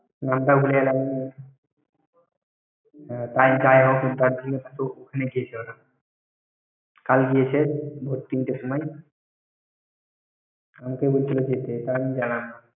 নামটা ভুলে গেলাম। ওখানে গিয়েছিল । কাল গিয়েছে ভোর তিনটের সময়। আমাকে বলছিল যেতে, তাই আমি জানালাম।